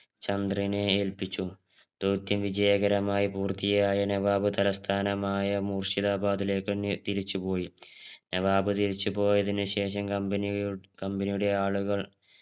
ചന്ദ്രനെ ഏല്പിച്ചു ധൗഥ്യം വിജയകരമായി പൂർത്തിയായ നവാബ് തലസ്ഥാനമായ മൂശ്ചിതബാദ് ലേക്ക് തന്നെ തിരിച്ചു പോയി നവാബ് തിരിച്ചു പോയതിന് ശേഷം company യു company യുടെ ആളുകൾ